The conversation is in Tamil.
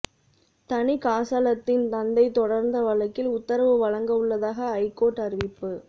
தணிகாசலத்தின் தந்தை தொடர்ந்த வழக்கில் உத்தரவு வழங்க உள்ளதாக ஐகோர்ட் அறிவிப்பு